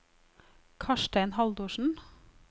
Karstein Haldorsen